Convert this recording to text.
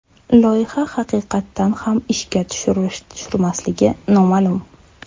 Loyiha haqiqatan ham ishga tushirilish-tushirilmasligi noma’lum.